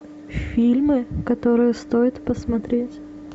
фильмы которые стоит посмотреть